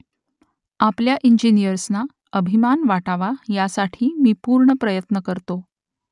आपल्या इंजिनियर्सना अभिमान वाटावा यासाठी मी पूर्ण प्रयत्न करतो